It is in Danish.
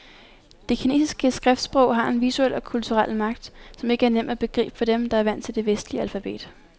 Det kinesiske skriftsprog har en visuel og kulturel magt, som ikke er nem at begribe for dem, der er vant til det vestlige alfabet.